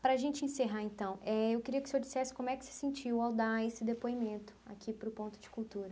Para a gente encerrar, então eh, eu queria que o senhor dissesse como é que se sentiu ao dar esse depoimento aqui para o Ponto de Cultura.